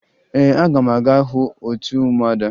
Ee, aga m aga hụ otu ụmụada